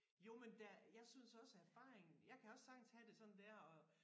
Jo men der jeg synes også at erfaring jeg kan også sagtens have det sådan der og